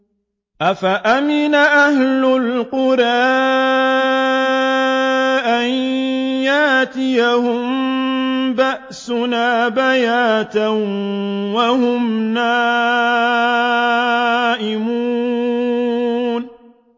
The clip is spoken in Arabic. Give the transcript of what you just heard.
أَفَأَمِنَ أَهْلُ الْقُرَىٰ أَن يَأْتِيَهُم بَأْسُنَا بَيَاتًا وَهُمْ نَائِمُونَ